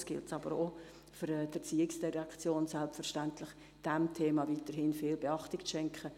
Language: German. Es gilt jedoch auch, dass die ERZ diesem Thema weiterhin viel Beachtung schenkt.